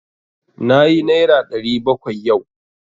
Nayi naira ɗari bakwai yau.